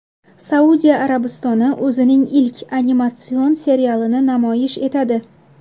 Saudiya Arabistoni o‘zining ilk animatsion serialini namoyish etadi .